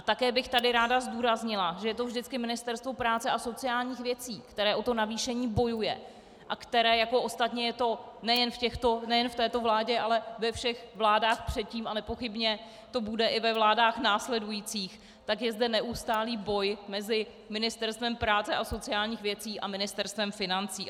A také bych tady ráda zdůraznila, že je to vždy Ministerstvo práce a sociálních věcí, které o to navýšení bojuje a které, jako ostatně je to nejen v této vládě, ale ve všech vládách předtím a nepochybně to bude i ve vládách následujících, tak je zde neustálý boj mezi Ministerstvem práce a sociálních věcí a Ministerstvem financí.